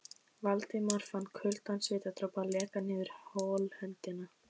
Valdimar fann kaldan svitadropa leka niður holhöndina.